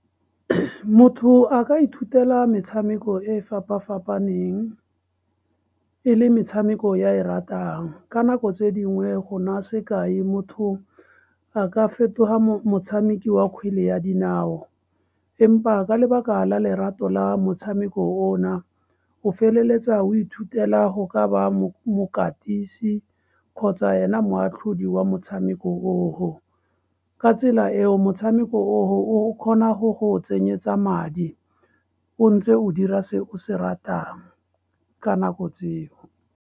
Motho a ka ithutela metshameko e fapafapaneng, e le metshameko e a e ratang. Ka nako tse dingwe, go nna sekai, motho a ka fetoga motshameki wa kgwele ya dinao empa ka lebaka la lerato la motshameko o na, o feleletsa o ithutela go ka ba mokatisi kgotsa ena moatlhodi wa motshameko o ho. Ka tsela eo, motshameko o ho, o kgona go go tsenyetsa madi, o ntse o dira se o se ratang, ka nako tseo.